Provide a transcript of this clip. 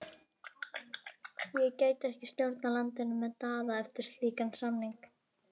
Ég gæti ekki stjórnað landinu með Daða eftir slíkan samning.